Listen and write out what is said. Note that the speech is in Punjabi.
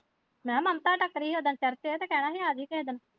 ਮੈਂ ਕਿਹਾ ਮਮਤਾ ਟੱਕਰੀ ਹੀ ਉਸ ਦਿਨ ਪਰਸੋਂ ਤੇ ਕਹਿਣਾ ਹੀ ਆਜੀ ਤੂੰ ਵੀ।